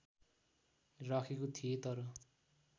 राखेको थिएँ तर